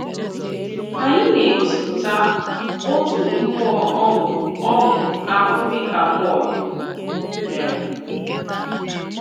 Ànyị nā-egosipụta òtù mmụọ ọṅụ ọṅụ ahụ díkà Pọl mere?